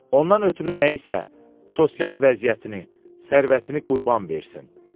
Ondan ötrü nəyisə, sosial vəziyyətini, sərvətini qurban versin.